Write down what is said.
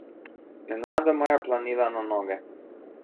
Nenadoma je planila na noge.